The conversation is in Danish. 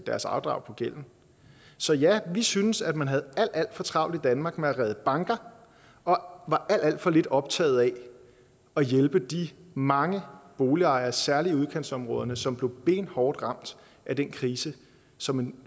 deres afdrag på gælden så ja vi synes at man havde alt alt for travlt i danmark med at redde banker og var alt alt for lidt optaget af at hjælpe de mange boligejere særlig i udkantsområderne som blev benhårdt ramt af den krise som en